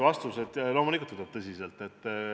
Vastus on, et loomulikult võtab tõsiselt.